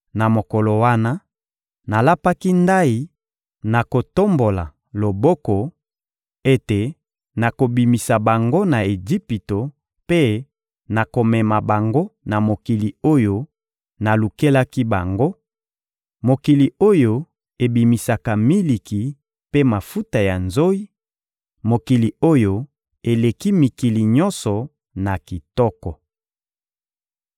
Na mokolo wana, nalapaki ndayi, na kotombola loboko, ete nakobimisa bango na Ejipito mpe nakomema bango na mokili oyo nalukelaki bango, mokili oyo ebimisaka miliki mpe mafuta ya nzoyi, mokili oyo eleki mikili nyonso na kitoko.